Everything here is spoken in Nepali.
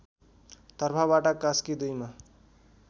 तर्फबाट कास्की २ मा